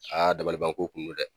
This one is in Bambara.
dabalibanko kun no dɛ.